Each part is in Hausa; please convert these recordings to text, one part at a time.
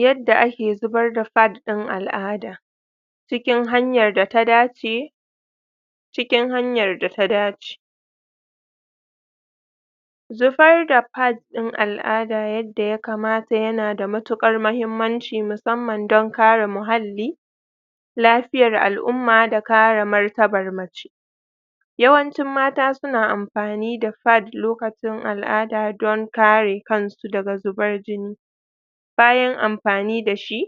yadda ake zubar da pad din al'ada cikin hanyar da ta dace cikin hanyar da ta dace zubar da pad din al'ada yadda ya kamata yana da matukar mahimmanci musamman don kare muhalli lafiyar al'umma da kare martaban mace yawancin mata suna amfani da pad lokacin al'ada don kare kansu daga zubar jini bayan amfani dashi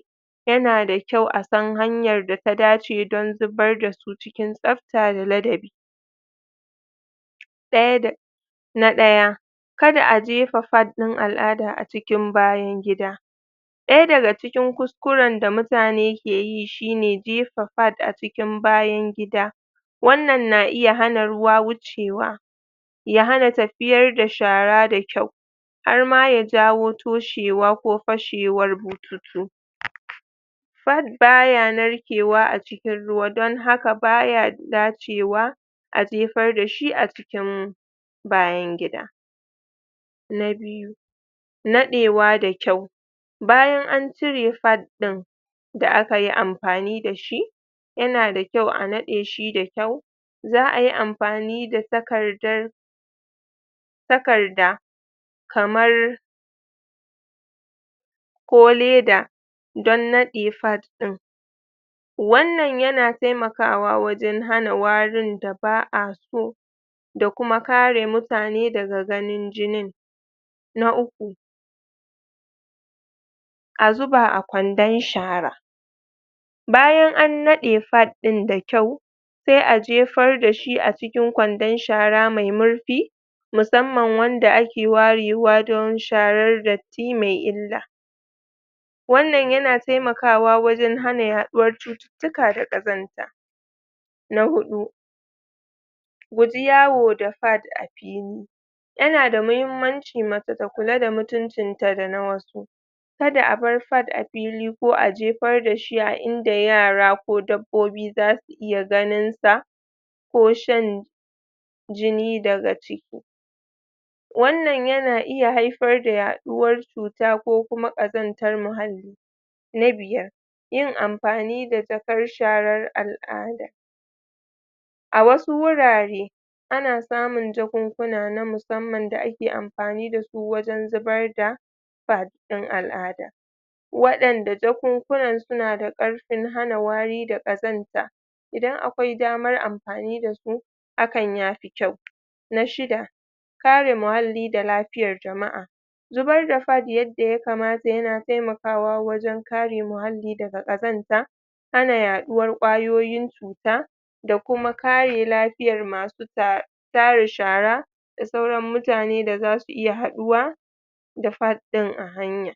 yana da kyau a san hanyar da ta dace don zubar dasu cikin tsabta da ladabi daya da na daya kada a jefa pad din al'ada a cikin bayan gida daya daga cikin kus kuren da mutane ke yi shine jefa pad a cikin bayan gida wannan na iya hana ruwa wucewa ya hana tafiyar da shara da kyau har ma ya jawo toshewa ko fashewar bututu?? pad baya narkewa a cikin ruwa don haka baya dacewa a jefar dashi a cikin bayan gida na biyu nadewa da kyau bayan an cire pad din da akayi amfani dashi yana da kyau a nadeshi da kyau zaayi amfani da takardar takarda kamar ko leda don nade pad din wannan yana taimakawa wajen hana warin da baa so da kuma kare mutane daga ganin jinin na uku a zuba a kwandon shara bayan an nade pad din da kyau sai a jefar dashi a cikin kwandon shara me marfi musamman wanda ake warewa don sharar datti me illa wannan yana taimakawa wajen hana yaduwar cututtuka da kazanta na hudu guji yawo da pad a fili yana da mahimmanci mace ta kula da mutuncin ta da na wasu kada a bar pad a fili a jefar dashi a inda yara ko dabbobi zasu iya ganinsa ko shan jini daga ciki wannan yana iya haifar da yaduwar cuta ko kuma kazantar muhalli na biyar yin amfani da jakar sharar al'ada a wasu wurare ana samun jakinkuna na musamman da ake amfani dasu wajen zubar da pad din al'ada wadanda jakunkunan suna da karfin hana wari da kazanta idan akwai damar amfani dasu hakan yafi kyau na shida kare muhalli da lafiyar jama'a zuabr da pad yadda ya kamata ya taimakawa wajen kare muhalli daga kazanta hana yaduwar kwayoyin cuta da kuma kare lafiyar masu tara shara da suaran mutane da zasu iya haduwa da pad din a hanya